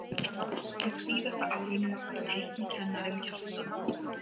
Á síðara árinu var teiknikennarinn Kjartan